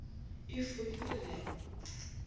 e fodile re a go